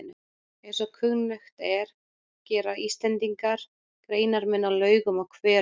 Eins og kunnugt er gera Íslendingar greinarmun á laugum og hverum.